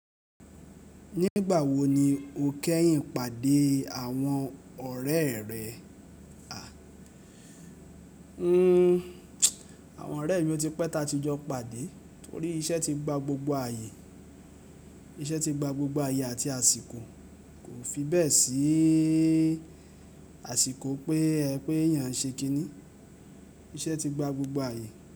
Nígbà wo ni o kẹ́yìn pàdé àwọn ọ̀rẹ́ rẹ? Àwọn ọ̀rẹ́ mi ọ ti pẹ́ta ti jọ pàdé torí iṣẹ́ ti gba gbogbo àyè. Iṣẹ́ ti gba gbogbo àyè àti àsìkò, kò fi bẹ́ẹ̀ sí àsìkò pé ẹ pé èèyàn n ṣe kíni, iṣẹ́ ti gba gbogbo àyè.